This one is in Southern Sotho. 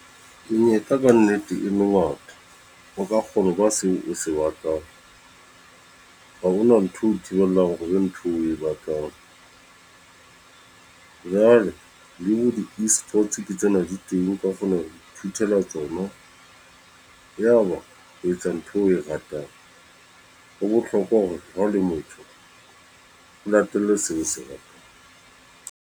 Menyetla ka nnete e motho o ka kgona ho ba seo o se batlang ha hona ntho eo thibelang hore ntho eo o e batlang jwale le ho eSports ke tsena di teng o ka kgona ho ithutela tsona ya ba o etsa ntho eo o e ratang. Ho bohlokwa hore ha o le motho o latelle seo se ratang.